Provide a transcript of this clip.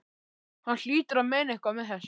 Hún hlýtur að meina eitthvað með þessu!